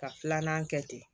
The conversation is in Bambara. Ka filanan kɛ ten